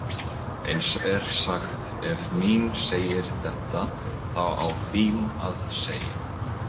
Eins er sagt: Ef mín segir þetta þá á þín að segja.